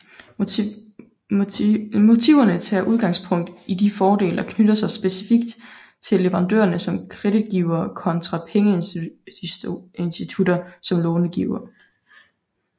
Motiverne tager udgangspunkt i de fordele der knytter sig specifikt til leverandører som kreditgivere kontra pengeinstitutter som långivere